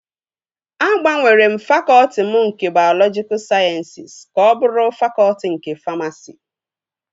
Agbanwere m fakọtị m nke bayọlọjika sayensịs ka ọ bụrụ fakọtị nke famasi